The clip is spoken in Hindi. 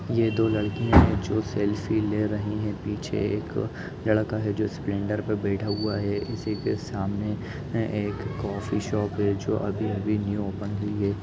ये दो लड़कियाँ है जो सल्फी ले रही है पीछे एक लड़का है जो स्प्लेंडर पे बैठा हुआ है इसी के सामने एक कॉफ़ी शॉप है जो अभी -अभी न्यू ओपन हुई हैं।